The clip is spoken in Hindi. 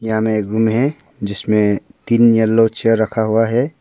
यहाँ मे एक रूम है जिसमें तीन येलो चेयर रखा हुआ है।